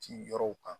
Ci yɔrɔw kan